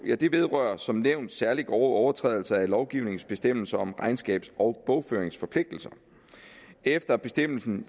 vedrører som nævnt særlig grove overtrædelser af lovgivningens bestemmelser om regnskabs og bogføringsforpligtelser efter bestemmelsen